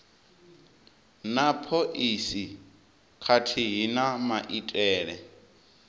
na phoisi khathihi na maitele